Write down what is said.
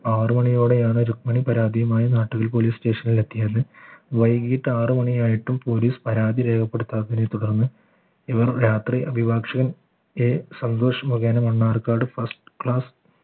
ആറുമണിയോടെയാണ് രുക്മിണി പരാതിയുമായി നാട്ടിൽ police station ൽ എത്തിയാല് വൈകിട്ട് ആറു മണിയായിട്ടും police പരാതി രേഖപ്പെടുത്താത്തതിന് തുടർന്ന് ഇവർ രാത്രി അഭിഭാഷകൻ A സന്തോഷ് മുഖേന മണ്ണാർക്കാട് first class